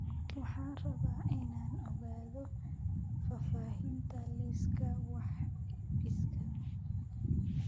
Waxaan rabaa inaan ogaado faahfaahinta liiska wax iibsiga